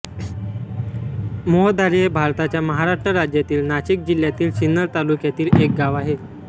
मोहदारी हे भारताच्या महाराष्ट्र राज्यातील नाशिक जिल्ह्यातील सिन्नर तालुक्यातील एक गाव आहे